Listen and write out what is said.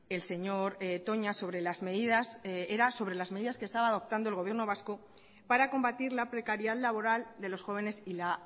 el señor toña sobre las medidas era sobre las medidas que estaba adoptando el gobierno vasco para combatir la precariedad laboral de los jóvenes y la